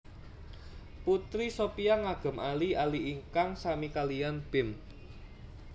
Putri Shopia ngagem ali ali ingkang sami kaliyan Pim